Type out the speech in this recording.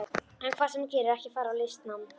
En hvað sem þú gerir, ekki fara í listnám.